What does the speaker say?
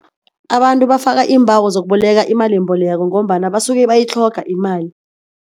Abantu bafaka iimbawo zokuboleka imalimbeleko ngombana basuke bayitlhoga imali.